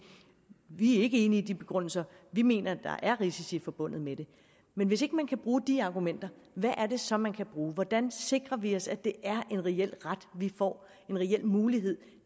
vi er ikke enige i de begrundelser vi mener at der er risici forbundet med det men hvis ikke man kan bruge de argumenter hvad er det så man kan bruge hvordan sikrer vi os at det er en reel ret vi får en reel mulighed